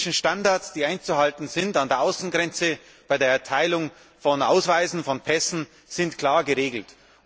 Die technischen Standards, die einzuhalten sind an der Außengrenze, bei der Erteilung von Ausweisen, von Pässen sind klar geregelt.